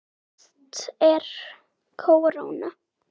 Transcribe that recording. Efst er kóróna.